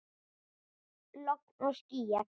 Logn og skýjað.